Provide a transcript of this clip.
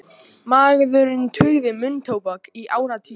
Maðurinn tuggði munntóbak í áratugi